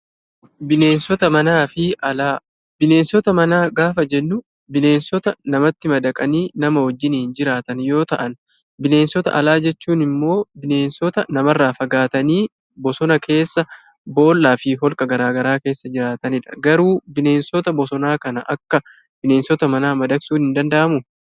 Bineensota manaa gaafa jennu bineensota namatti madaqanii nama wajjiniin jiraatan yoo ta'an, bineensota alaa jechuun immoo bineensota namarraa fagaatanii bosona keessa, boollaa fi holqa garaa garaa keessa jiraatanidha. Garuu bineensota bosonaa kana akka bineensota manaa madaqsuun hin danda'amuu?